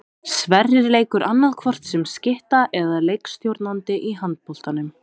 Sverrir leikur annaðhvort sem skytta eða leikstjórnandi í handboltanum.